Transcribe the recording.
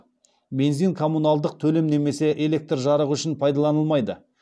бензин коммуналдық төлем немесе электр жарығы үшін пайдаланылмайды